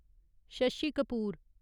Shashi Kapoor